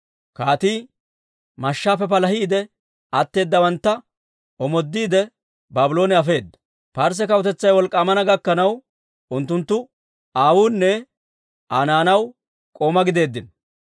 Kaatii mashshaappe palahiide atteeddawantta omooddiide Baabloone afeedda. Parsse kawutetsay wolk'k'aamana gakkanaw, unttunttu aawunne Aa naanaw k'oomaa gideeddino.